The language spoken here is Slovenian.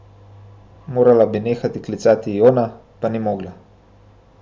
Morala bi nehati klicati Jona, pa ni mogla.